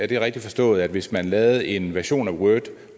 det rigtigt forstået at hvis man lavede en version af word